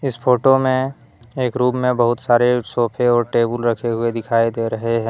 इस फोटो में एक रूम बहुत सारे सोफे और टेबुल रखे हुए दिखाई दे रहे है।